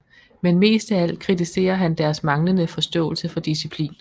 Men mest af alt kritiserer han deres manglende forståelse for disciplin